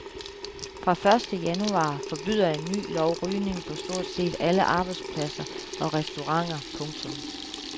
Fra første januar forbyder en ny lov rygning på stort set alle arbejdspladser og restauranter. punktum